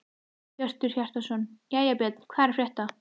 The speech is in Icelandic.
Hjörtur Hjartarson: Jæja Björn, hvað er að frétta?